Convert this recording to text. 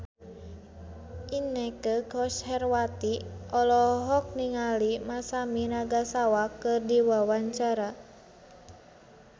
Inneke Koesherawati olohok ningali Masami Nagasawa keur diwawancara